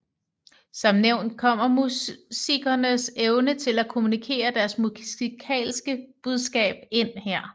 Som nævnt kommer musikernes evne til at kommunikere deres musikalske budskab ind her